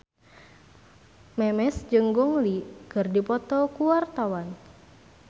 Memes jeung Gong Li keur dipoto ku wartawan